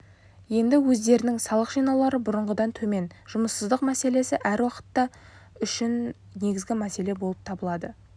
енді өздерінің салық жинаулары бұрынғыдан төмен жұмыссыздық мәселесі әр уақытта үшін негізгі мәселе болып табылады